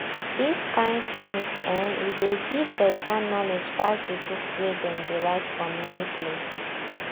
this kain songs[um]e dey give better knowledge pass the books wey dem dey write for many places